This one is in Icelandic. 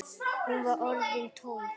Hún var orðin tólf!